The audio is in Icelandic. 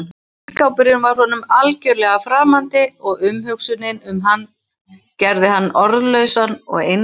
Ísskápurinn var honum algjörlega framandi og umhugsunin um hann gerði hann orðlausan og einmana.